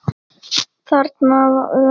Þarna undi Dysta sér vel.